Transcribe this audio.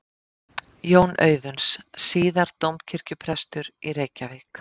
Jón Auðuns, síðar dómkirkjuprestur í Reykjavík.